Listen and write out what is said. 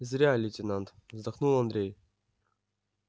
зря лейтенант вздохнул андрей